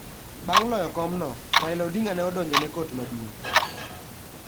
Bang ' loyo komno, Raila Odinga ne odonjo ne Kot Maduong.